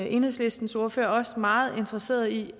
enhedslistens ordfører også meget interesseret i